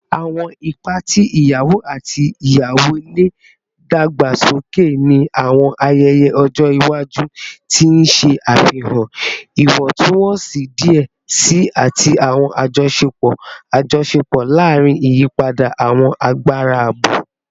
Awọn ipa ti iyawo ati iyawo le dagbasoke ni awọn ayẹyẹ ọjọ iwaju, ti n ṣe afihan iwọntunwọnsi diẹ sii ati awọn ajọṣepọ ajọṣepọ larin iyipada awọn agbara abo.